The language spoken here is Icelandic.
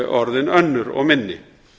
orðin önnur og minni